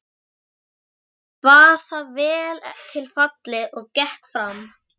Sveinninn kvað það vel til fallið og gekk fram.